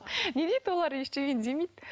не дейді олар ештеңе демейді